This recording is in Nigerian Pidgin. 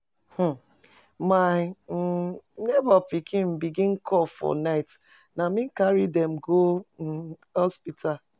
um My um nebor pikin begin cough for night, na me carry dem go um hospital.